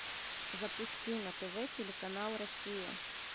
запусти на тв телеканал россия